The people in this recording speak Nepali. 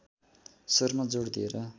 स्वरमा जोड दिएर